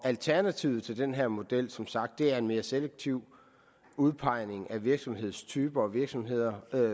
alternativet til den her model er som sagt en mere selektiv udpegning af virksomhedstyper og virksomheder